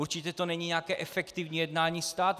Určitě to není nějaké efektivní jednání státu.